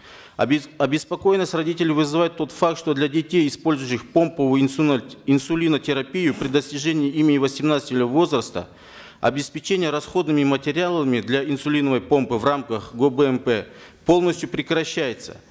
обеспокоенность родителей вызывает тот факт что для детей использующих помповую инсулинотерапию при достижении ими восемнадцати возраста обеспечение расходными материалами для инсулиновой помпы в рамках гобмп полностью прекращается